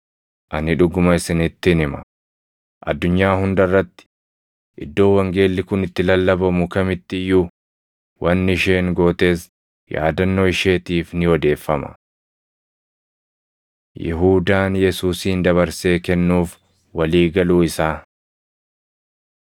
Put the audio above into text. Ani dhuguma isinittin hima; addunyaa hunda irratti, iddoo wangeelli kun itti lallabamu kamitti iyyuu wanni isheen gootes yaadannoo isheetiif ni odeeffama.” Yihuudaan Yesuusin Dabarsee Kennuuf Walii Galuu Isaa 26:14‑16 kwf – Mar 14:10,11; Luq 22:3‑6